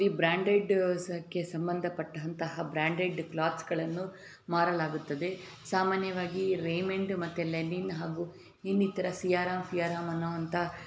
ಈ ಬ್ರಾಂಡೆಡ್ ಅತ್ತೆ ಸಂಬಂಧ ಪಟ್ಟಂತಹ ಬ್ರಾಂಡೆಡ್ ಕ್ಲೋತ್ಸ್ ಗಳನ್ನು ಮಾರಲಾಗುತ್ತದೆ. ಸಾಮಾನ್ಯವಾಗಿ ರೇಮಂಡ್ ಮತ್ತೆ ಲೆನಿನ್ ಹಾಗೂ ಇನ್ನಿತರ ಸಿಯಾರ ಪಿ ಆರ್ ಅನ್ನೋ ಅಂತಹ --